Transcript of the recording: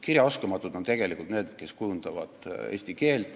Kirjaoskamatud on tegelikult need, kes kujundavad eesti keelt.